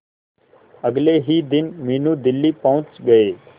अगले ही दिन मीनू दिल्ली पहुंच गए